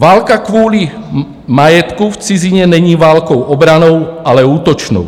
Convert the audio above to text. Válka kvůli majetku v cizině není válkou obrannou, ale útočnou.